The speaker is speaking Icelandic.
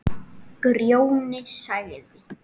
Grjóni sagði